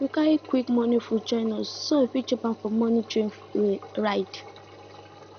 we carry quick morning food join us so we fit chop am for the morning train ride